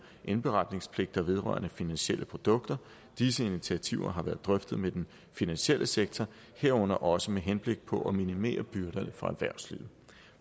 indberetningspligter vedrørende finansielle produkter disse initiativer har været drøftet med den finansielle sektor herunder også med henblik på at minimere byrderne for erhvervslivet